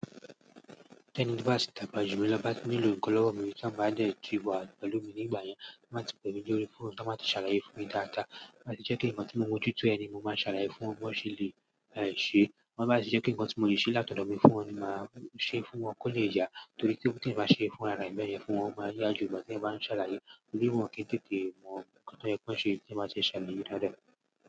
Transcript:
Tẹ́ní bá ti dàgbà jù mi lọ bá ti nílò nǹkan lọ́wọ́ mi, tí won bá dẹ̀ ti wà pẹ̀lú mi nígbà yẹn, ti wọ́n bá ti pẹ̀rẹ́ mí ni órí, tí wọn bá ti ṣàlàyé fún mi dáadáa. Wọ́n á ti jẹ́ kí nǹkan tí mo mọ̀ ojú tú ẹ ni mo máa ṣàlàyé fún wọn bó ṣe lè e ṣe é. Wọ́n má ti jẹ́ kí nǹkan tí mo ti ṣe látọ̀dọ̀ mi fún wọn ni màá ṣe fún wọn kó le ya torí tí ohun tí eeyan bá ṣe fún ara ra e bẹ́ẹ̀ yẹn fún wọn o máa yá jù ìgbà tí eeyan bá ń ṣàlàyé. Bi wọ́n kí tètè mọ ohun nkan to ye kan ṣe le ma ṣe ṣàlàyé dáadáa.